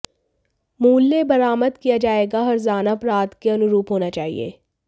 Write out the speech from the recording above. मूल्य बरामद किया जाएगा हर्जाना अपराध के अनुरूप होना चाहिए